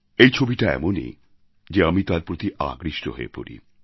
এই ছবিটা এমনই যে আমি তার প্রতি আকৃষ্ট হয়ে পড়ি